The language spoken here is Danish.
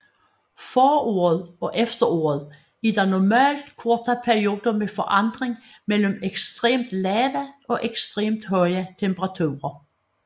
Foråret og efteråret er der normalt korte perioder med forandring mellem ekstremt lave og ekstremt høje temperaturer